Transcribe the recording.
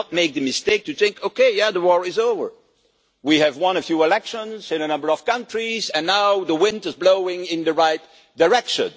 Let's not make the mistake of thinking, okay, the war is over, we have won a few elections in a number of countries and now the wind is blowing in the right direction.